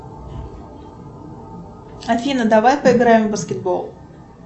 афина давай поиграем в баскетбол